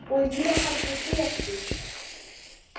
Og ég hafði betur.